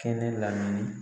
Kɛnɛ lamini.